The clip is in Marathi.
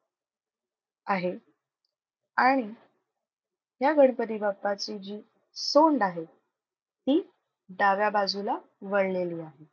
आहे. आणि या गणपती बाप्पाची जी सोंड आहे ती डाव्या बाजूला वळलेली आहे.